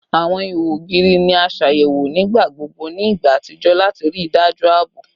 Awọn iho ogiri ni a ṣayẹwo nigbagbogbo ni igba atijọ lati rii daju aabo